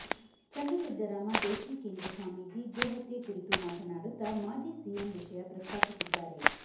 ಚನ್ನಸಿದ್ದರಾಮ ದೇಶಿಕೇಂದ್ರ ಸ್ವಾಮಿಜಿ ಗೋಹತ್ಯೆ ಕುರಿತು ಮಾತನಾಡುತ್ತ ಮಾಜಿ ಸಿಎಂ ವಿಷಯ ಪ್ರಸ್ತಾಪಿಸಿದ್ದಾರೆ